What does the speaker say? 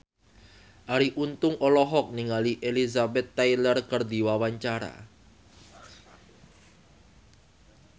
Arie Untung olohok ningali Elizabeth Taylor keur diwawancara